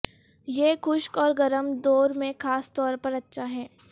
یہ خشک اور گرم دور میں خاص طور پر اچھا ہے